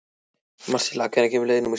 Marsilía, hvenær kemur leið númer sjö?